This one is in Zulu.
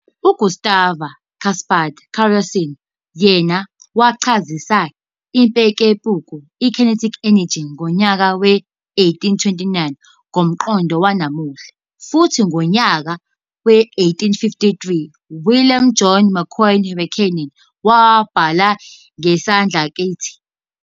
U-Gustave-Gaspard Coriolis yena wachazisa impekumpeku, kinetic energy, ngonyaka we-1829 ngomqondo wanamuhla, futhi ngonyaka we-1853, uWilliam John Macquorn Rankine wabhala ngesidlakathi'.